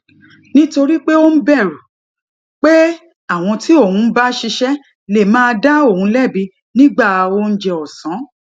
nítorí pé ó ń bèrù pé àwọn tí òun ń bá ṣiṣé lè máa dá òun lébi nígbà oúnjẹ òsán